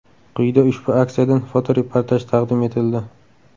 Quyida ushbu aksiyadan fotoreportaj taqdim etildi.